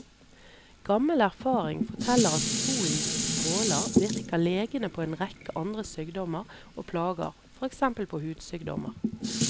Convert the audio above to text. Gammel erfaring forteller at solens stråler virker legende på en rekke andre sykdommer og plager, for eksempel på hudsykdommer.